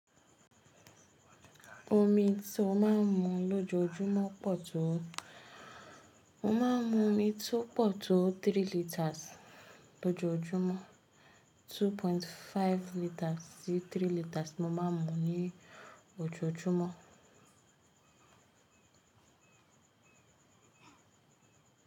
Omi tí ó máa ń mu lójoójúmọ́ pọ̀ tó o. Mo máa ń mu omi tó pọ̀ tó three liters lójoójúmọ́. Two point five liters sí three liters mo máa ń mu ní ojoojúmọ́.